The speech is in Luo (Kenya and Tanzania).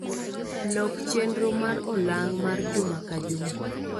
Lok chenro mar olang' mar juma ka juma